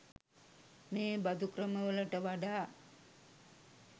මේ බඳු ක්‍රමවලට වඩා